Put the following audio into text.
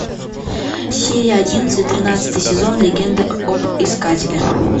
серия одиннадцать тринадцатый сезон легенда об искателе